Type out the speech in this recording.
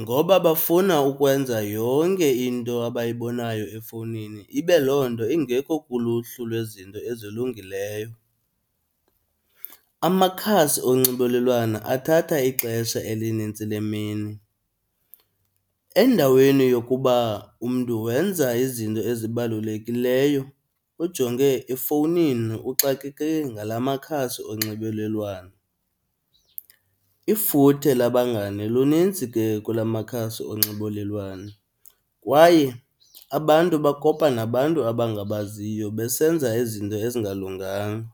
Ngoba bafuna ukwenza yonke into abayibonayo efowunini ibe loo nto ingekho kuluhlu lwezinto ezilungileyo. Amakhasi onxibelelwana athatha ixesha elinintsi lemini, endaweni yokuba umntu wenza izinto ezibalulekileyo ujonge efowunini uxakeke ngala makhasi onxibelelwano. Ifuthe labangane lunintsi ke kula makhasi onxibelelwano kwaye abantu bakopa nabantu abangabaziyo besenza izinto ezingalunganga.